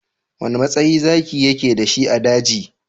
Wane matsayi Zaki yake da shi a daji?